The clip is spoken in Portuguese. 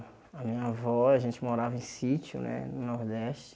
A minha avó, a gente morava em sítio né, no Nordeste.